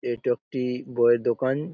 এই টপ -টি বইয়ের দোকান।